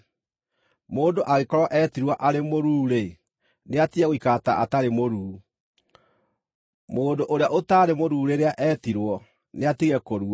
Mũndũ angĩkorwo eetirwo arĩ mũruu-rĩ, nĩatige gũikara ta atarĩ mũruu. Mũndũ ũrĩa ũtaarĩ mũruu rĩrĩa eetirwo nĩatige kũrua.